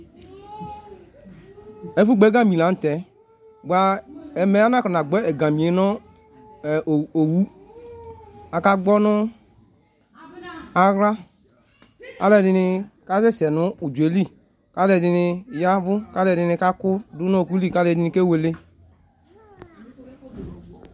efugbɔ ɛgãmi lanutɛ bua ɛmɛ anakɔnagbɔ ɛgãmiyɛ nu owu aka gbɔnu nu ahla alɔɖini kasɛsɛ nu udzɔɛli kalɛdini yavu kalɛdini kaku dunu ɔkuli kalɛdini kewele